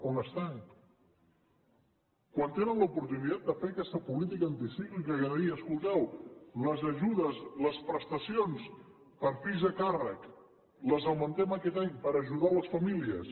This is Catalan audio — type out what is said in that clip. on són quan tenen l’oportunitat de fer aquesta política anticíclica de dir escolteu les ajudes les prestacions per fills a càrrec les augmentem aquest any per ajudar les famílies